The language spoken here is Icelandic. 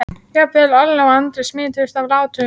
Jafnvel Alla og Andri smituðust af látunum.